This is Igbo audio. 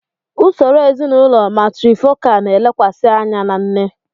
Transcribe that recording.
Usoro ezinụlọ matrifocal na-elekwasị anya na nne.